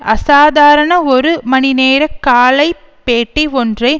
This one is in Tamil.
அசாதாரண ஒரு மணி நேர காலை பேட்டி ஒன்றை